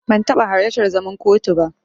Ban taɓa halartar zaman kotu ba.